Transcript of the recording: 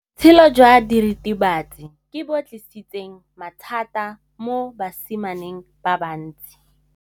Botshelo jwa diritibatsi ke bo tlisitse mathata mo basimaneng ba bantsi.